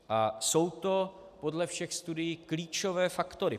A jsou to podle všech studií klíčové faktory.